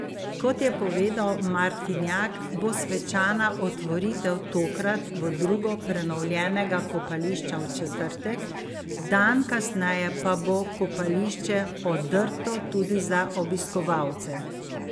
Kot je povedal Martinjak, bo svečana otvoritev tokrat v drugo prenovljenega kopališča v četrtek, dan kasneje pa bo kopališče odrto tudi za obiskovalce.